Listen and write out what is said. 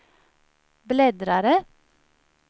bläddrare